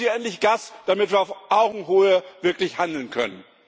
Geben Sie endlich Gas, damit wir auf Augenhöhe wirklich handeln können!